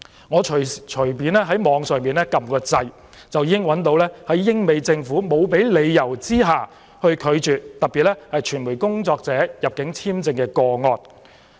我隨便在網上搜查，就已經找到一些英、美政府沒有給予理由而拒絕傳媒工作者的入境簽證個案。